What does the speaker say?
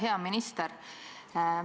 Hea minister!